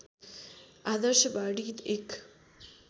आदर्शवाणी एक